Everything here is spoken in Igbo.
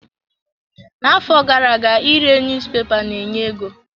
Na-afọ gara-aga ire niyuzupepa ne-enye ego.